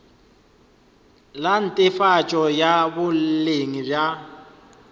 la netefatšo ya boleng bja